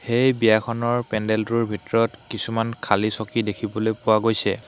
এই বিয়াখনৰ পেণ্ডেলটোৰ ভিতৰত কিছুমান খালী চকী দেখিবলৈ পোৱা গৈছে।